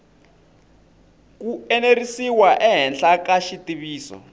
ku enerisiwa ehenhla ka xitiviso